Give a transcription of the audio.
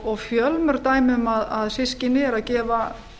og fjölmörg dæmi um að systkini eru að gefa